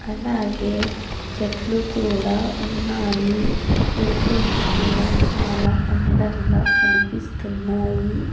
అలాగే చెట్లు కూడా ఉన్నాయి ఇల్లులు కూడా చాలా అందంగా కనిపిస్తున్నాయి.